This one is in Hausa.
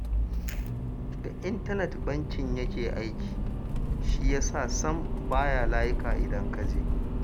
Da intanet bankin yake aiki, shi ya sa sam ba layuka idan ka je